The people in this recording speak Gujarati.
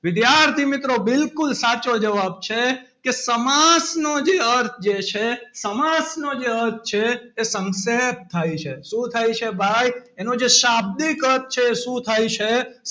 વિદ્યાર્થી મિત્રો બિલકુલ સાચો જવાબ છે. કે સમાસ નો જે અર્થ છે સમાસ ને અર્થ છે. તે સંક્ષેપ્ત થાય છે. શું થાય છે ભાઈ એનું જે શાબ્દિક અર્થ છે. શું થાય છે?